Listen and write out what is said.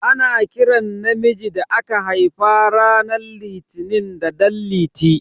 Ana kiran namiji da aka haifa ranar litini da dan liti.